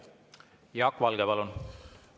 Jaak Valge, palun!